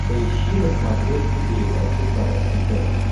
поищи на смотрешке передачу квн тв